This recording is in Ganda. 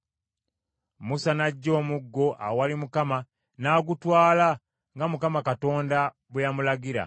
Musa n’aggya omuggo awali Mukama n’agutwala nga Mukama Katonda bwe yamulagira.